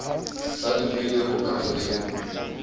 sa dumele ho ka fefolwa